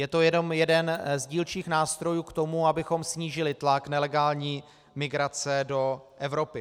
Je to jenom jeden z dílčích nástrojů k tomu, abychom snížili tlak nelegální migrace do Evropy.